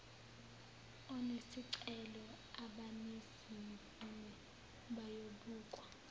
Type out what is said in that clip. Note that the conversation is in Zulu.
onesicelo abanezimvume bayobukwa